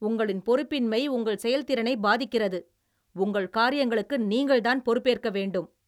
உங்களின் பொறுப்பின்மை உங்கள் செயல்திறனை பாதிக்கிறது, உங்கள் காரிங்களுக்கு நீங்கள்தான் பொறுப்பேற்க வேண்டும்